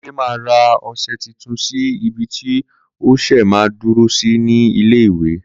Kunle ma ra ọsẹ titun sí ibi tí ọsẹ ma ń dúró sí ní ilé ìwè